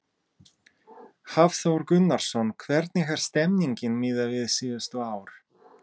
Hafþór Gunnarsson: Hvernig er stemningin miðað við síðustu ár?